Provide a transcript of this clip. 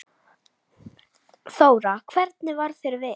Þóra: Hvernig varð þér við?